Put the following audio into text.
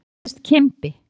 Hann nefndist Kimbi.